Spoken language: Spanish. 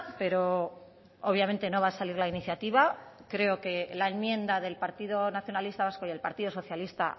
pero obviamente no va a salir la iniciativa creo que la enmienda del partido nacionalista vasco y el partido socialista